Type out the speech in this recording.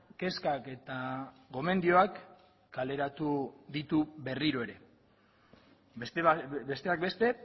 kezkak eta gomendioak kaleratu ditu berriro ere besteak beste